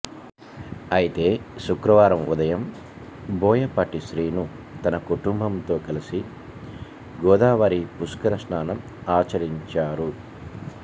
అయితే శుక్రవారం ఉదయం బోయపాటి శ్రీను తన కుటుంబంతో కలసి గోదావరి పుష్కరస్నానం ఆచరించారు